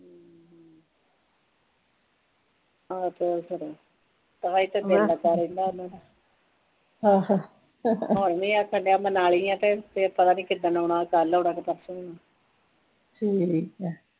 ਤਾ ਹੀ ਤਾਂ ਮਨ ਲੱਗਾ ਰਹਿੰਦਾ ਉਹਦਾ ਹੁਣ ਵੀ ਆਖੇ ਕਿ ਮੈਂ ਮਨਾਲੀ ਆ ਤੇ ਪਤਾ ਨਹੀ ਕਿਦਨ ਆਉਣਾ ਕੱਲ ਆਉਣਾ ਕਿ ਪਰਸੋ ਆਉਣਾ